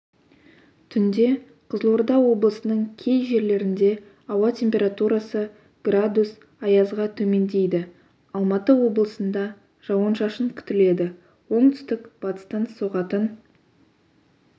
түнде қызылорда облысының кей жерлерінде ауа температурасы градус аязға төмендейді алматы облысында жауын-шашын күтіледі оңтүстік-батыстан соғатын